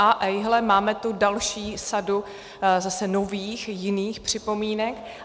A ejhle, máme tu další sadu zase nových, jiných připomínek.